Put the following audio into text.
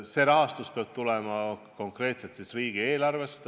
See raha peab tulema konkreetselt riigieelarvest.